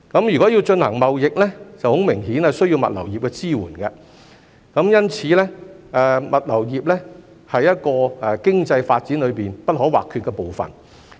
如果要進行貿易，很明顯需要物流業的支援，因此物流業是經濟發展裏不可或缺的部分。